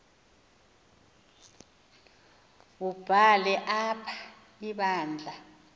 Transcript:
wubhale apha ibandla